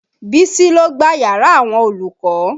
Bisola ló gbá yàrá àwọn olùkọ́